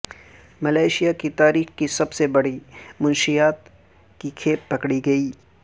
Malaysia کی تاریخ کی سب سے بڑی منشیات کی کھیپ پکڑی گئی